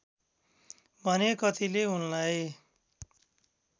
भने कतिले उनलाई